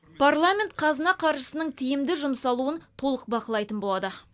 парламент қазына қаржысының тиімді жұмсалуын толық бақылайтын болады